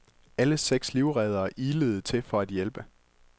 Alle seks livreddere ilede til for at hjælpe.